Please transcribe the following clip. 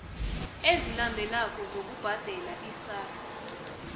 ezilandelako zokubhadela isars